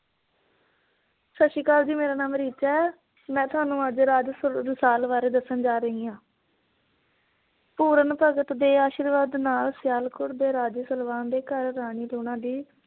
ਸੱਸੀ ਕਾਲ ਜੀ ਮੇਰਾ ਨਾਮ ਰਿਚਾ ਹੈ। ਮੈ ਤੁਹਾਨੂੰ ਅੱਜ ਰਾਜੇ ਸਲਵਾਨ ਬਾਰੇ ਦੱਸਣ ਜਾ ਰਹੀ ਹੈ। ਪੂਰਨ ਭਗਤ ਦੇ ਅਸ਼ੀਰਵਾਦ ਨਾਲ ਸਿਆਲਕੋਟ ਦੇ ਰਾਜੇ ਸਲਵਾਨ ਦੇ ਘਰ ਰਾਣੀ ਲੂਣਾ ਦੀ